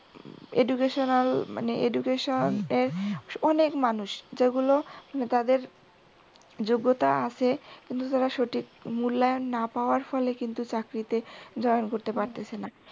educational মানে education এর অনেক মানুষ যতগুলো মানে তাদের যোগ্যতা আছে কিন্তু তারা সঠিক মূল্যায়ন না পাওয়ার ফলে কিন্তু চাকরিতে join করতে পারতেসে না।